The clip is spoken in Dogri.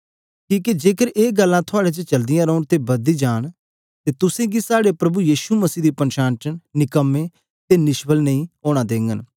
कीहके जेकर ए गल्ला थुआड़े च चलदे रहे अते बढ़दी जाएँ अते तुस गी साहडे प्रभु यीशु मसीह दी पन्शान च निकम्मे अते निष्फल नां होने देग